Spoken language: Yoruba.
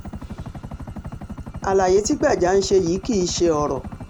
àlàyé tí gbájá ń ṣe yìí kì í ṣe ọ̀rọ̀